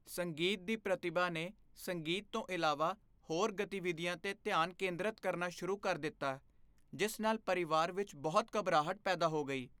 ਸੰਗੀਤ ਦੀ ਪ੍ਰਤਿਭਾ ਨੇ ਸੰਗੀਤ ਤੋਂ ਇਲਾਵਾ ਹੋਰ ਗਤੀਵਿਧੀਆਂ 'ਤੇ ਧਿਆਨ ਕੇਂਦਰਤ ਕਰਨਾ ਸ਼ੁਰੂ ਕਰ ਦਿੱਤਾ ਜਿਸ ਨਾਲ ਪਰਿਵਾਰ ਵਿੱਚ ਬਹੁਤ ਘਬਰਾਹਟ ਪੈਦਾ ਹੋ ਗਈ।